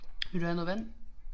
Vil du have noget vand?